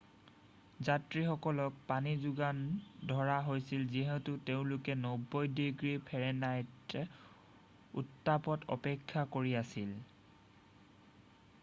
যাত্ৰীসকলক পানী যোগান ধৰা হৈছিল যিহেতু তেওঁলোকে 90 ডিগ্ৰী ফাৰেনহাইট উত্তাপত অপেক্ষা কৰি আছিল